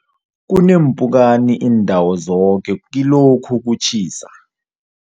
Kuneempukani iindawo zoke kilokhu kutjhisa.